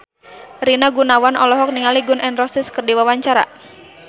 Rina Gunawan olohok ningali Gun N Roses keur diwawancara